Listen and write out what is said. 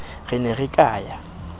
re ne re ka ya